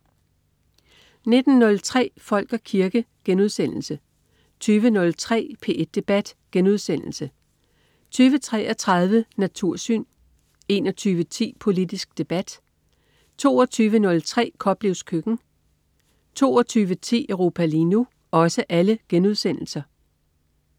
19.03 Folk og kirke* 20.03 P1 Debat* 20.33 Natursyn* 21.10 Politisk debat* 22.03 Koplevs køkken* 22.10 Europa lige nu*